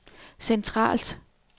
centralt